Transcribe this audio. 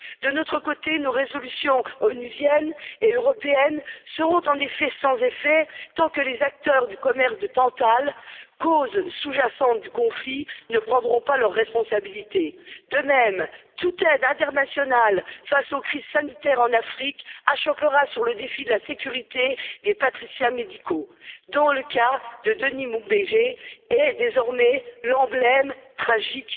De notre côté, nos résolutions onusiennes et européennes seront en effet sans effet tant que les acteurs du commerce de tantale, cause sous jacente du conflit, ne prendront pas leurs responsabilités. De même, toute aide internationale face aux crises sanitaires en Afrique achoppera sur le défi de la sécurité des praticiens médicaux, dont le cas de Denis Mukwege est désormais l'emblème tragique,